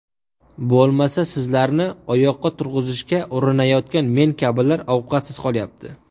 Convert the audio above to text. Bo‘lmasa, sizlarni oyoqqa turg‘izishga urinayotgan men kabilar ovqatsiz qolyapti.